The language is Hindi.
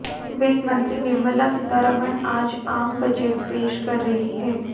वित्त मंत्री निर्मला सीतारमण आज आम बजट पेश कर रही हैं